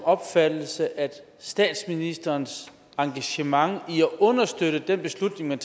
opfattelse at statsministerens engagement i at understøtte den beslutning der